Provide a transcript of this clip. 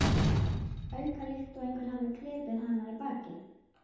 auka, líkt og einhver hafi klipið hana í bakið.